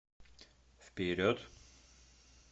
вперед